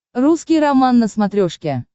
русский роман на смотрешке